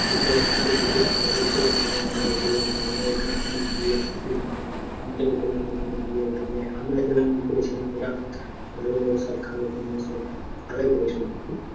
দুটো তিনটের দিকে নিয়ে আমরা গেলাম নিয়ে আমরাও ওখানে খানিক গিয়ে খুব নিয়ে ধরলে ওখানে গিয়ে ধরলে আমরাও যেরকম করেছিলাম ওরাও ধরলে সব খাবার দাবার সব ভালোই করেছিল।